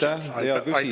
Aitäh, hea küsija!